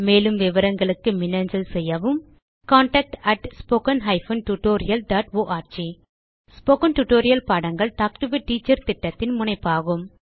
மேலும் விவரங்களுக்கு மின்னஞ்சல் செய்யவும் contactspoken tutorialorg ஸ்போகன் டுடோரியல் பாடங்கள் டாக் டு எ டீச்சர் திட்டத்தின் முனைப்பாகும்